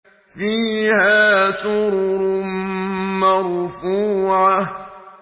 فِيهَا سُرُرٌ مَّرْفُوعَةٌ